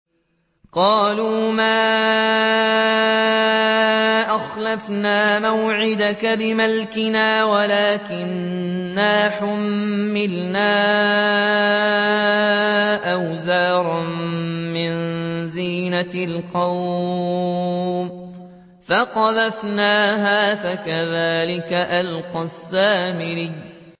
قَالُوا مَا أَخْلَفْنَا مَوْعِدَكَ بِمَلْكِنَا وَلَٰكِنَّا حُمِّلْنَا أَوْزَارًا مِّن زِينَةِ الْقَوْمِ فَقَذَفْنَاهَا فَكَذَٰلِكَ أَلْقَى السَّامِرِيُّ